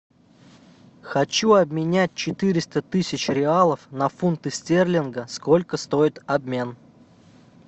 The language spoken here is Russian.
хочу обменять четыреста тысяч реалов на фунты стерлингов сколько стоит обмен